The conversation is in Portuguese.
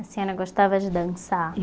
A senhora gostava de dançar?